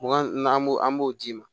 Mugan an b'o an b'o d'i ma